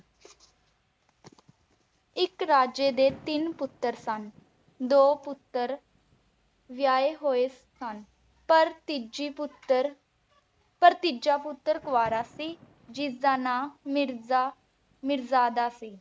ਇਕ ਰਾਜੇ ਦੇ ਤਿੰਨ ਪੁੱਤਰ ਸਨ। ਦੋ ਪੁੱਤਰ ਵਿਆਹੇ ਹੋਏ ਸਨ ਪਰ ਤੀਜੀ ਪੁੱਤਰ ਪਰ ਤੀਜਾ ਪੁੱਤਰ ਕੁਆਰਾ ਸੀ ਜਿਸ ਦਾ ਨਾਂ ਮਿਰਜ਼ਾ ਮੀਰਜ਼ਾਦਾ ਸੀ।